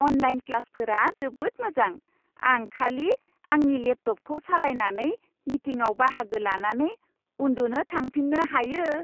Online क्लासफोरा जोबोद मोजां। आं खालि आंनि लेपटपखौ सालायनानै, मिटिंआव बाहागो लानानै उन्दुनो थांफिन्नो हायो।